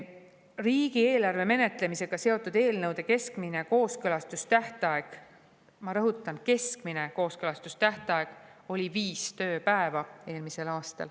Riigieelarve menetlemisega seotud eelnõude keskmine kooskõlastustähtaeg – ma rõhutan: keskmine kooskõlastustähtaeg – oli eelmisel aastal viis tööpäeva.